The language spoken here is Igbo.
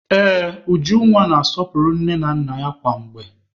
Ee, Ujunwa na-asọpụrụ nne na nna ya kwa mgbe